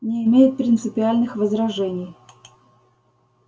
не имеет принципиальных возражений